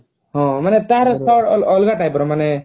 ହଁ ମାନେ ତାର ତାର ଅଲଗା ଅଲଗା type ର ମାନେ